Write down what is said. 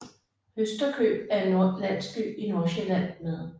Høsterkøb er en landsby i Nordsjælland med